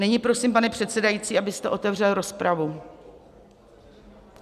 Nyní prosím, pane předsedající, abyste otevřel rozpravu.